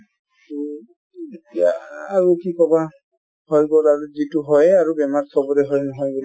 উম এতিয়া আ আৰু কি কবা , হৈ গ'ল আৰু যিটো হয়েই আৰু বেমাৰ চবৰে হয়